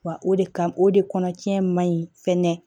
Wa o de kan o de kɔnɔ tiɲɛ ma ɲi fɛnɛ